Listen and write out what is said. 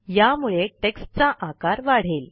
यामुळे टेक्स्ट चा आकार वाढेल